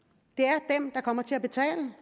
er kommer til at betale